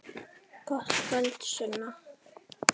Gott kvöld, Sunna.